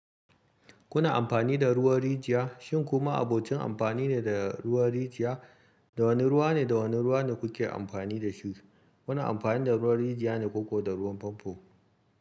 Kuna amfani da ruwan rijiya, shin ku ma'abocin amfani ne da ruwan rijiya? Da wane ruwa ne, da wane ruwa ne kuke amfani da su? Kuna amfani da ruwan rijiya ne ko da ruwan famfo?